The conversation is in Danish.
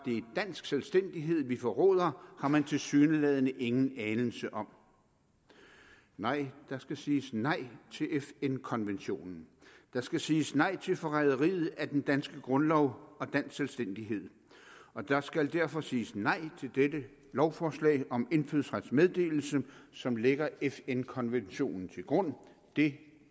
dansk selvstændighed vi forråder har man tilsyneladende ingen anelse om nej der skal siges nej til fn konventionen der skal siges nej til forræderiet af den danske grundlov og dansk selvstændighed og der skal derfor siges nej til dette lovforslag om indfødsrets meddelelse som lægger fn konventionen til grund det